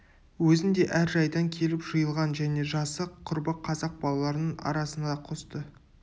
өзіндей әр жайдан келіп жиылған және жасы құрбы қазақ балаларының арасына қосты